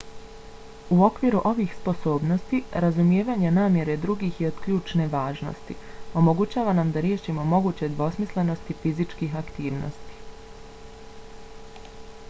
u okviru ovih sposobnosti razumijevanje namjere drugih je od ključne važnosti. omogućava nam da riješimo moguće dvosmislenosti fizičkih aktivnosti